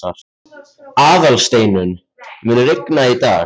Aðalsteinunn, mun rigna í dag?